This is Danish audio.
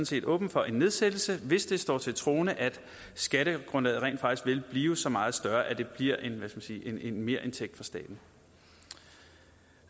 set åbne for en nedsættelse hvis det står til troende at skattegrundlaget rent faktisk vil blive så meget større at det bliver en merindtægt for staten